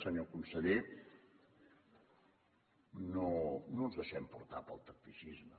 senyor conseller no no ens deixem portar pel tacticisme